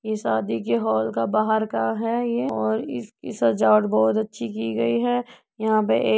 ये शादी के होल का बाहर का है ये और इसकी सजावट बहुत अच्छी है की गई है| यहां पे एक --